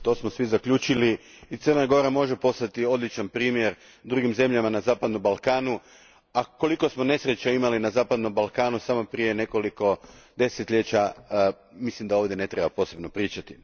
To smo svi zaključili i Crna Gora može postati odličan primjer drugim zemljama na zapadnom Balkanu, a koliko smo nesreća imali na zapadnom Balkanu samo prije nekoliko desetljeća mislim da ovdje ne treba posebno pričati.